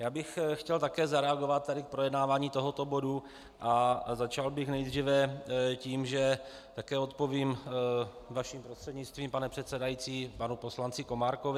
Já bych chtěl také zareagovat tady v projednávání tohoto bodu a začal bych nejdříve tím, že také odpovím vaším prostřednictvím, pane předsedající, panu poslanci Komárkovi.